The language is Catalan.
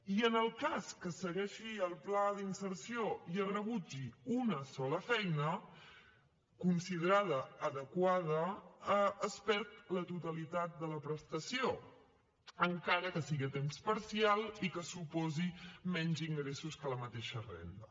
i en el cas que segueixi el pla d’inserció i es rebutgi una sola feina considerada adequada es perd la totalitat de la prestació encara que sigui a temps parcial i que suposi menys ingressos que la mateixa renda